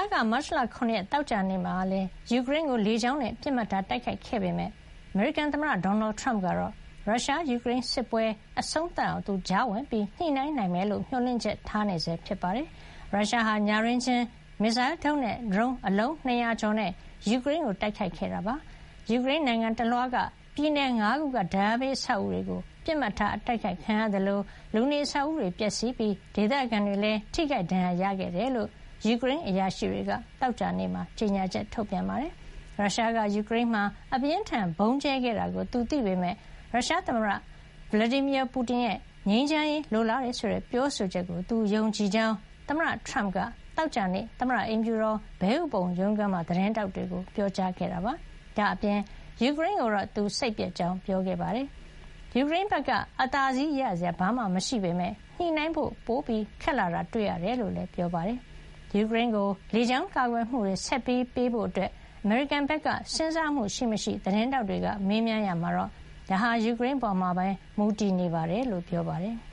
းကို မတ်လ ၇ ရက် သောကြာနေ့မှာလည်း လေကြောင်းနဲ့ ပစ်မှတ်ထား တိုက်ခိုက်ခဲ့ပေမယ့် အမေရိကန်သမ္မတ ဒေါ်နယ်ထရမ့်ကတော့ ရုရှား-ယူကရိန်း စစ်ပွဲအဆုံးသတ်အောင် သူကြားဝင် ညှိနှိုင်းနိုင်မယ်လို့ မျှော်လင့်ချက် ထားနေဆဲ ဖြစ်ပါတယ်။ ရုရှားဟာ မစ်ဇိုင်းဒုံး အလုံး ၂၀၀ ကျော်နဲ့ ယူကရိန်းကို တညလုံး တိုက်ခိုက်ခဲ့တာဖြစ်ပြီး ယူကရိန်းနိုင်ငံတလွှား ပြည်နယ် ၅ ခုက ဓါတ်အားပေး အဆောက်အဦးတွေ ပစ်မှတ်ထား တိုက်ခိုက်ခံရသလို လူနေ အဆောက်အဦးတွေ ပျက်စီးပြီး၊ ဒေသခံတွေလည်း ထိခိုက်ဒဏ်ရာရခဲ့တယ်လို့ ယူကရိန်းအရာရှိတွေက သောကြာနေ့မှာ ပြောပါတယ်။ ရုရှားက ယူကရိန်းမှာ အပြင်းအထန် ဗုံးကြဲခဲ့တာကို သူသိပေမယ့် ရုရှားသမ္မတ Vladimir Putin ရဲ့ ငြိမ်းချမ်းရေး လိုလားတယ်ဆိုတဲ့ ပြောဆိုချက်ကို သူယုံကြည်ကြောင်း သမ္မတ ထရမ့်က သောကြာနေ့ သမ္မတအိမ်ဖြူတော် ဘဲဥပုံရုံးခန်းမှာ သတင်းထောက် တွေကို ပြောပါတယ်။ ဒါ့အပြင် ယူကရိန်းကိုတော့ စိတ်ပျက်ကြောင်း ပြောခဲ့တာပါ။ ယူကရိန်းဘက်က အသာစီးရစရာ ဘာမှ မရှိပေမယ့် ညှိနှိုင်းဖို့ ပိုခက်လာတာ တွေ့ရတယ်လို့လည်း ပြောပါတယ်။ ယူကရိန်းကို လေကြောင်း ကာကွယ်မှုတွေ ဆက်ပေးဖို့ အမေရိကန်က စဉ်းစားမှု ရှိမရှိ မေးမြန်းရာမှာတော့၊ ဒါဟာ ယူကရိန်းပေါ်မှာ မူတည်နေတယ်လို့ ပြောပါတယ်။